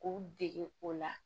K'u dege o la